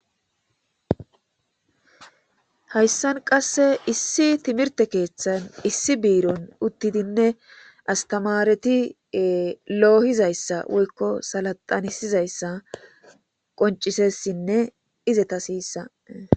Hayssan qasse issi timirte keeththan issi biiron uttidinne asttamaareti ee loohizayssa woykko salaxanisizayssa qoncisessinne izetasiissa.